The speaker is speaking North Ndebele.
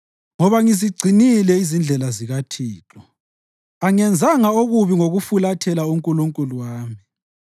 Ngoba ngizigcinile izindlela zikaThixo; angenzanga okubi ngokufulathela uNkulunkulu wami.